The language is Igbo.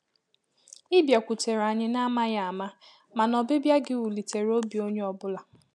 ị bịakwutere anyi na amaghị ama mana ọbịbịa gi wulitere obi onye ọbụla